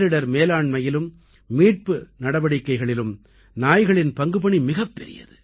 பேரிடர் மேலாண்மையிலும் மீட்பு நடவடிக்கைகளிலும் நாய்களின் பங்குபணி மிகப்பெரியது